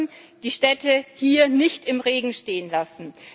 Wir dürfen die Städte hier nicht im Regen stehen lassen!